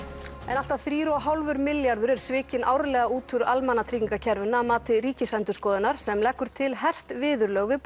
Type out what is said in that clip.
allt að þrír og hálfur milljarður er svikinn árlega úr almannatryggingarkerfinu að mati Ríkisendurskoðunar sem leggur til hert viðurlög við